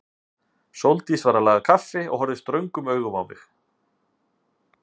Sóldís var að laga kaffi og horfði ströngum augum á mig.